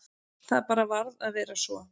Það bara varð að vera svo.